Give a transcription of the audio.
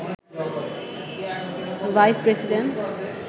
vice president